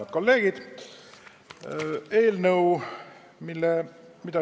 Head kolleegid!